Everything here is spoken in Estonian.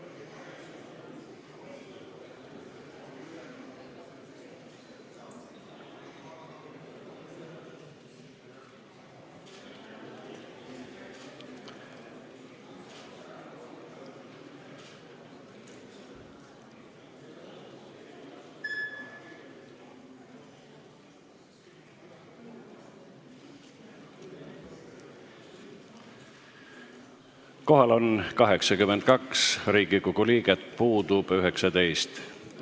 Kohaloleku kontroll Kohal on 82 Riigikogu liiget, puudub 19.